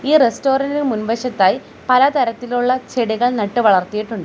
ഈ റസ്റ്റോറന്റിന് മുൻവശത്തായി പലതരത്തിലുള്ള ചെടികൾ നട്ടു വളർത്തിയിട്ടുണ്ട്.